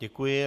Děkuji.